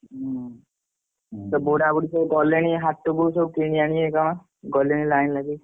ହଁ ହୁଁ ସେ ବୁଢା ବୁଢୀ ଗଲେଣି ସବୁ ହାଟକୁ କଣ କିଣି ଆଣିବେ ସବୁ ଗଲେଣି ଲାଇନ ଲଗେଇକି।